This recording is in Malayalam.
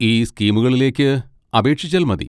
ഈ സ്കീമുകളിലേക്ക് അപേക്ഷിച്ചാൽ മതി.